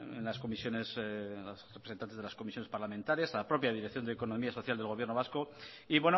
en las comisiones a los representantes de las comisiones parlamentarias a la propia dirección de economía social del gobierno vasco y